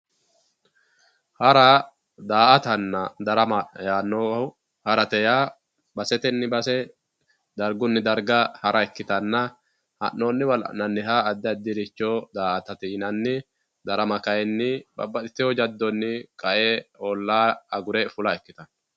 Hara, daa"attanna darama yaanohu, harate yaa basetenni base dargunni darga hara ikkittanna ha'nonniwa la'nanniricho addi addiha daa"attate yinanni ,darama kayinni babbaxxitino jadoni qae olla agure fulla ikkittano.